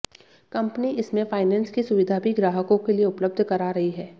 company इसमें finance की सुविधा भी ग्राहकों के लिए उपलब्ध करा रही है